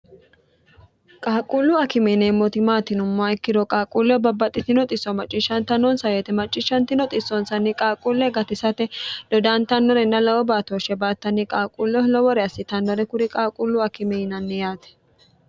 qaaquullu akime yineemmoti maati yinummo ikkiro qaaquulle babbaxxitino xisso macciishshantanonsa woyite macciishshantino xissonsanni qaaquulle gatisate dodantannorenna lowo baatooshshe baattanni qaaquulle lowore assitannore kuri qaaquullu akime yinanni yaate